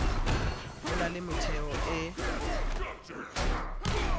ho na le metheo e